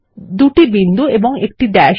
2 বিন্দু এবং 1 ড্যাশ